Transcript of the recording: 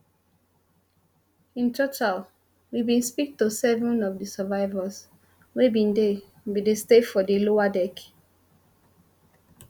in total we bin speak to seven of di survivors wey bin dey bin dey stay for di lower deck